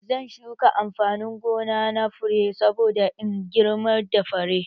Zan shuka amfanin gona na fure saboda in girmar da fure